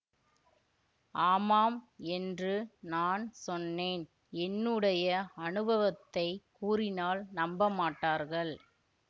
ஆமாம் என்று நான் சொன்னேன் என்னுடைய அனுபவத்தைக் கூறினால் நம்பமாட்டார்கள்